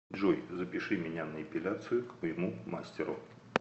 джой запиши меня на эпиляцию к моему мастеру